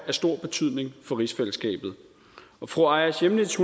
af stor betydning for rigsfællesskabet fru aaja chemnitz